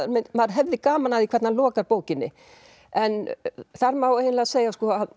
maður hefði gaman af því hvernig hann lokar bókinni en þar má eiginlega segja að